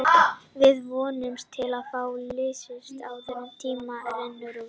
Við vonumst til að fá liðsauka áður en tíminn rennur út.